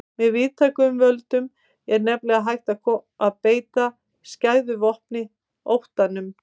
Með víðtækum völdum er nefnilega hægt að beita skæðu vopni, óttanum.